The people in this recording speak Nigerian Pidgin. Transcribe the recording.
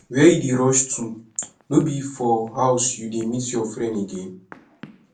where you dey rush to no be for house you dey meet your friend again